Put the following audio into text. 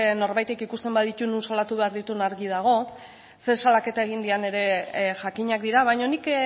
norbaitek ikusten baditu non salatu behar ditu argi dago zein salaketa egin dian ere jakinak dira baino nik